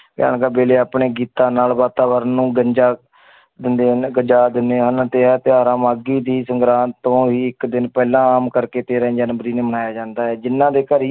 ਵੇਲੇ ਆਪਣੇ ਗੀਤਾਂ ਨਾਲ ਵਾਤਾਵਰਨ ਨੂੰ ਗੰਜਾ ਦਿੰਦੇ ਹਨ ਗਜਾ ਦਿੰਦੇ ਹਨ ਤਿਉਹਾਰਾਂ ਮਾਘੀ ਦੀ ਸੰਗਰਾਂਦ ਤੋਂ ਹੀ ਇੱਕ ਦਿਨ ਪਹਿਲਾਂ ਆਮ ਕਰਕੇ ਤੇਰਾਂ ਜਨਵਰੀ ਨੂੰ ਮਨਾਇਆ ਜਾਂਦਾ ਹੈ ਜਿੰਨਾਂ ਦੇ ਘਰੀ